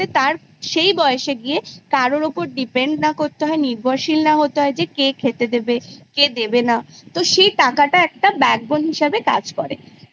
সেই বয়সে গিয়ে কারুর ওপর Depend না করতে হয় নির্ভরশীল না করতে হয় যে কে খেতে দেবে কে দেবে না তো সেই টাকাটা একটা backbone হিসাবে কাজ করে।